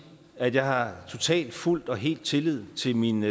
at jeg har totalt fuldt og helt tillid til min